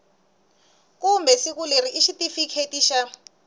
kumbe siku leri xitifiketi xa